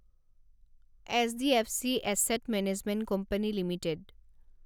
HDFC asset management company limited